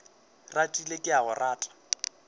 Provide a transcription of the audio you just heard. ratile ke a go rata